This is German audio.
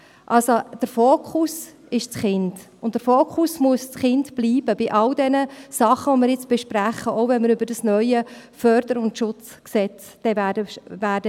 Also: Der Fokus ist das Kind, und der Fokus muss das Kind bei all diesen Dingen, die wir jetzt besprechen, bleiben, auch wenn wir über das neue FSG sprechen werden.